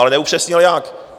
Ale neupřesnil jak.